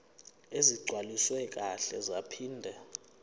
ezigcwaliswe kahle zaphinde